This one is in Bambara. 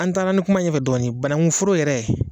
An taara ni kuma ye ɲɛ fɛ dɔɔnin banakun foro yɛrɛ